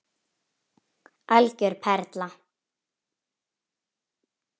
Algjör perla.